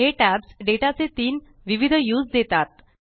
हे tabs data चे तीन विविध व्यूस देतात